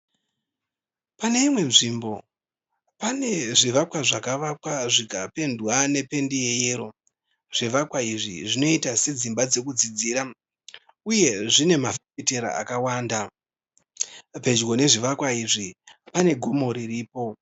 Pane imwe nzvimbo, pane zvivakwa zvakavakwa zvikapendwa nependi yeyero. Zvivakwa izvi zvinoita sedzimba dzekudzidzira, uye zvine mafefetera akawanda . Pedyo nezvivakwa izvi pane gomo riripo.